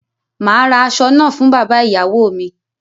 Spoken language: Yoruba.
Màá ra aṣọ náà fún bàbá ìyàwó mi.